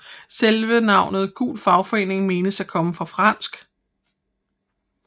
Selve navnet gul fagforening menes at komme fra fransk